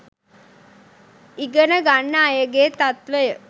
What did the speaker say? ඉගන ගන්න අයගේ තත්වය